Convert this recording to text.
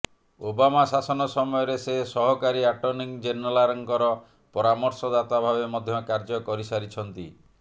Obama ଶାସନ ସମୟରେ ସେ ସହକାରୀ ଆଟର୍ଣ୍ଣି ଜେନେରାଲ୍ଙ୍କର ପରାମର୍ଶଦାତା ଭାବେ ମଧ୍ୟ କାର୍ଯ୍ୟ କରିସାରିଛନ୍ତି